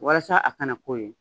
Walasa a kana k'o ye